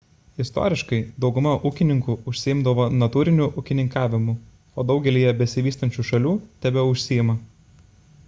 istoriškai dauguma ūkininkų užsiimdavo natūriniu ūkininkavimu o daugelyje besivystančių šalių tebeužsiima